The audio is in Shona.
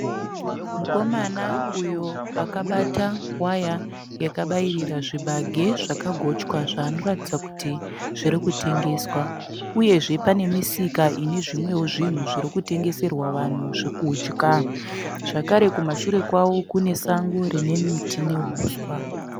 Mukomana uyo akabata waya yakabairira zvibage zvakagochwa zvaanoratidza kuti zvirikutengeswa, uyezve pane misika ine zvimwewo zvinhu zviri kutengeserwa vanhu zvekudya. Zvakare kumashure kwavo kune sango rine miti nehuswa.